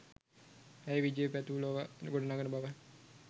ඇය විජය පැතූ ලොව ගොඩ නඟන බව